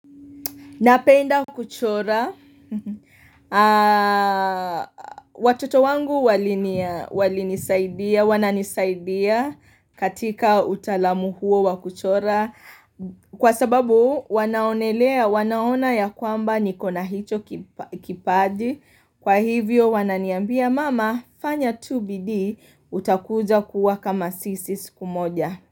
Napenda kuchora. Watoto wangu walinia walinisaidia, wananisaidia katika utaalamu huo wa kuchora. Kwa sababu wanaonelea, wanaona ya kwamba niko na hicho kipa kipaji. Kwa hivyo wananiambia mama, fanya tu bidii, utakuja kuwa kama sisi siku moja.